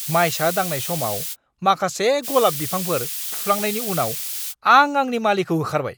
मायसा दांनाय समाव माखासे गलाब बिफांफोर फुफ्लांनायनि उनाव आं आंनि मालिखौ होखारबाय।